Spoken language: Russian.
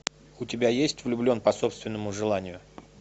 у тебя есть влюблен по собственному желанию